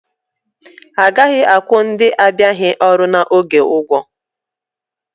Agaghị akwụ ndị abịaghị ọrụ n'oge ụgwọ